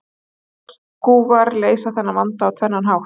Skelskúfar leysa þennan vanda á tvennan hátt.